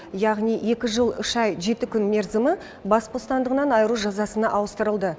яғни екі жыл үш ай жеті күн мерзімі бас бостандығынан айыру жазасына ауыстырылды